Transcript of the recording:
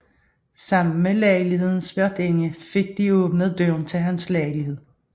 Sammen med lejlighedens værtinde fik de åbnet døren til hans lejlighed